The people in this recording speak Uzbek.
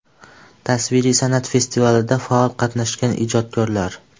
Tasviriy san’at festivalida faol qatnashgan ijodkorlar.